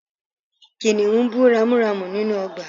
Kìnìún bú ramúramù nínú ọgbà